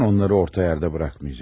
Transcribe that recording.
Mən onları orta yerdə buraxmayacam.